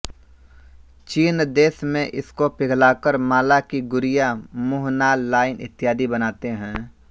चीन देश में इसको पिघलाकर माला की गुरियाँ मुँहनालइत्यादि वस्तुएँ बनाते हैं